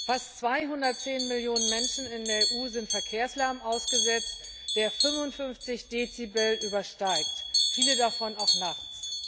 Fast 210 Millionen Menschen in der EU sind Verkehrslärm ausgesetzt, der 55 Dezibel übersteigt, viele von ihnen auch nachts.